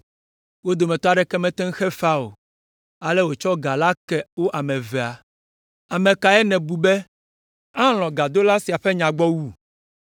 Wo dometɔ aɖeke mete ŋu xe fea o, ale wòtsɔ ga la ke wo ame evea. Ame kae nèbu be alɔ̃ gadola sia ƒe nya gbɔ wu?”